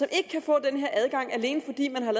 kan få den her adgang alene fordi man har